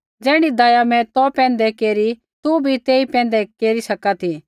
ज़ैण्ढी दया मैं तौ पैंधै केरी तू भी तेई पैंधै केरी सका ती